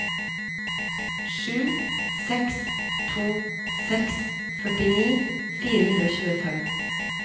sju seks to seks førtini fire hundre og tjuefem